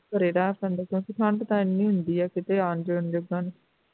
ਘਰੇ ਬੈਠ ਜਾਂਦੇ ਸੀ ਠੰਡ ਤੇ ਇੰਨੀ ਹੁੰਦੀ ਐ ਕਿੱਥੇ ਆਉਣ ਜਾਣ ਜੋਗਾ ਨਹੀਂ